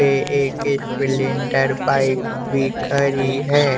पे एक Splendor bike भी खरी है।